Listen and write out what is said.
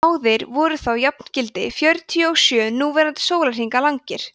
báðir verða þá jafngildi fjörutíu og sjö núverandi sólarhringa langir